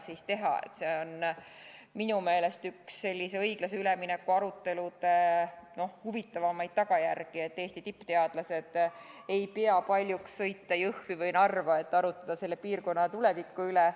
See on minu meelest üks sellise õiglase ülemineku arutelude huvitavamaid tulemeid, see, et Eesti tippteadlased ei pea paljuks sõita Jõhvi või Narva, et arutada selle piirkonna tuleviku üle.